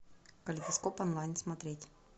калейдоскоп онлайн смотреть